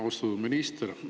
Austatud minister!